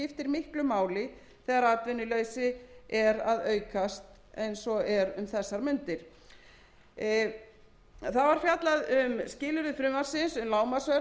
miklu máli þegar atvinnuleysi er að aukast eins og er um þessar mundir þá var fjallað var um skilyrði frumvarpsins um lágmarksverð og möguleg áhrif þess á viðskipti auk þess sem